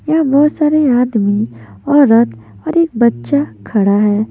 यहां बहुत सारे आदमी औरत और एक बच्चा खड़ा है।